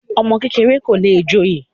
ọmọ kékeré kò le joyè